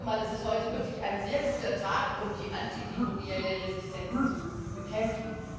Ich denke mal, das ist heute wirklich ein sehr guter Tag, um die antimikrobielle Resistenz zu bekämpfen.